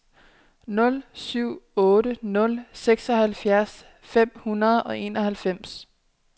nul syv otte nul seksoghalvfjerds fem hundrede og enoghalvfems